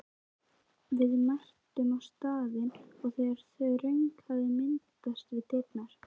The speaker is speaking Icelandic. Við mættum á staðinn þegar þröng hafði myndast við dyrnar.